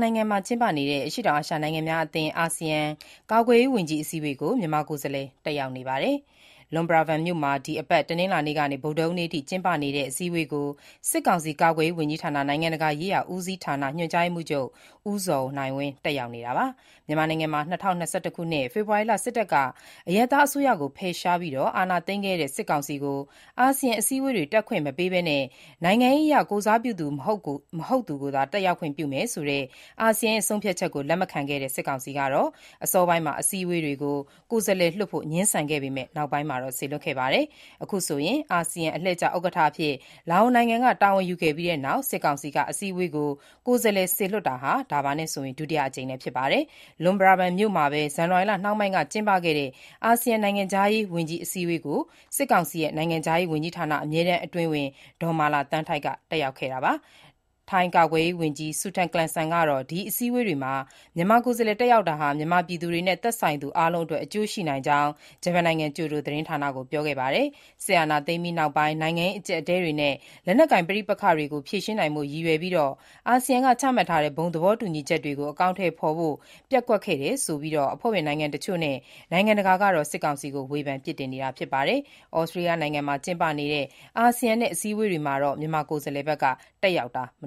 နိုင်ငံမှာ ကျင်းပနေတဲ့ အရှေ့တောင်အာရှ နိုင်ငံများအသင်း (အာဆီယံ) ကာကွယ်ရေးဝန်ကြီး အစည်းအဝေးကို မြန်မာကိုယ်စားလှယ် တက်ရောက်နေပါတယ်။ Luang Prabang မြို့မှာ တနင်္လာနေ့ကနေ ဗုဒ္ဓဟူးနေ့အထိ ကျင်းပနေတဲ့ အစည်းအဝေးကို စစ်ကောင်စီ ကာကွယ်ရေး ဝန်ကြီးဌာန နိုင်ငံတကာရေးရာဦးစီးဌာန၊ ညွှန်ကြားရေးမှူးချုပ် ဦးဇော်နိုင်ဝင်း တက်ရောက်နေတာပါ။ မြန်မာနိုင်ငံမှာ ၂၀၂၁ ခုနှစ် ဖေဖော်ဝါရီလ စစ်တပ်က အရပ်သားအစိုးရကို ဖယ်ရှားပြီး အာဏာသိမ်းခဲ့တဲ့ စစ်ကောင်စီကို အာဆီယံအစည်းအဝေးတွေ တက်ခွင့်မပေးဘဲ နိုင်ငံရေးအရ ကိုယ်စားပြုသူ မဟုတ်သူကိုသာ တက်ရောက်ခွင့် ပြုထားတာ ဖြစ်ပါတယ်။ အာဆီယံရဲ့ ဆုံးဖြတ်ချက်ကို လက်မခံတဲ့ စစ်ကောင်စီက အစောပိုင်းမှာ အစည်းအဝေးတွေကို ကိုယ်စားလှယ်လွှတ်ဖို့ ငြင်းဆန်ခဲ့ပေမဲ့ နောက်ပိုင်းမှာ စေလွှတ်ခဲ့တာပါ။ အာဆီယံ အလှည့်ကျဥက္ကဋ္ဌအဖြစ် လာအိုနိုင်ငံက တာဝန်ယူခဲ့ပြီးနောက် စစ်ကောင်စီက အစည်းအဝေးကို ကိုယ်စားလှယ် စေလွှတ်တာ ဒါဟာ ဒုတိယအကြိမ်လည်း ဖြစ်ပါတယ်။ Luang Prabang မြို့မှာပဲ ဇန်နဝါရီလနှောင်းပိုင်းက ကျင်းပခဲ့တဲ့ အာဆီယံ နိုင်ငံခြားရေးဝန်ကြီး အစည်းအဝေးကိုတော့ စစ်ကောင်စီ နိုင်ငံခြားရေးဝန်ကြီးဌာန အမြဲတမ်းအတွင်းဝန် ဒေါ်မာလာသန်းထိုက် တက်ရောက်ခဲ့တာပါ။ ထိုင်းကာကွယ်ရေးဝန်ကြီး Sutin Klungsang ကတော့ ဒီအစည်းအဝေးမှာ မြန်မာကိုယ်စားလှယ် တက်ရောက်တာဟာ မြန်မာပြည်သူတွေနဲ့ သက်ဆိုင်သူအားလုံးအတွက် အကျိုးရှိနိုင်ကြောင်း ဂျပန်နိုင်ငံ ကျိုဒိုသတင်းဌာနကို ပြောခဲ့ပါတယ်။ စစ်အာဏာသိမ်းပြီးနောက်ပိုင်း နိုင်ငံရေး အကျပ်အတည်းတွေနဲ့ လက်နက်ကိုင်ပဋိပက္ခတွေကို ဖြေရှင်းနိုင်ဖို့ ရည်ရွယ်ပြီး အာဆီယံက ချမှတ်ထားတဲ့ ဘုံသဘောတူညီချက်တွေကို အကောင်အထည်ဖော်ဖို့ ပျက်ကွက်တယ်ဆိုပြီး အဖွဲ့ဝင်နိုင်ငံတချို့နဲ့ နိုင်ငံတကာကတော့ စစ်ကောင်စီကို ဝေဖန်နေတာ ဖြစ်ပါတယ်။ သြစတြေးလျနိုင်ငံမှာ ကျင်းပနေတဲ့ အာဆီယံ-ဩစတေးလျ အစည်းအဝေးတွေမှာတော့ မြန်မာကိုယ်စားလှယ်တက်ရောက်နေတာ မ